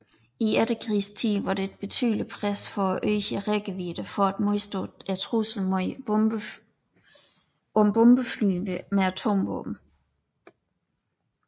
I efterkrigstiden var der et betydeligt pres for at øge rækkevidden for at modstå truslen om bombefly med atomvåben